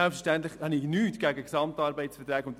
Selbstverständlich habe ich nichts gegen GAV.